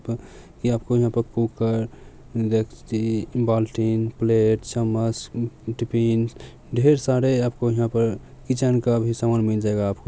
ये आपको यहां पे कुकर डेकची बाल्टी प्लेट चम्मच टिफ़िन ढेर सारे आपको यहां पर किचन का भी सामान मिल जाएगा आपको।